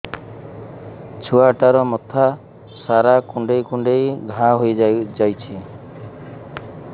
ଛୁଆଟାର ମଥା ସାରା କୁଂଡେଇ କୁଂଡେଇ ଘାଆ ହୋଇ ଯାଇଛି